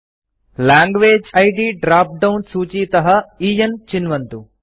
language इद् drop down सूचीतः एन् चिन्वन्तु